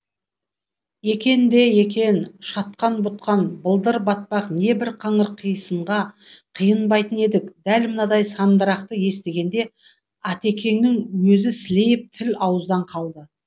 екен де екен шатқан бұтқан былдыр батпақ небір қаңыр қисынға қиынбайтын едік дәл мынадай сандырақты естігенде атекеңнің өзі сілейіп тіл ауыздан қалды